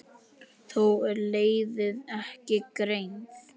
Þó er leiðin ekki greið.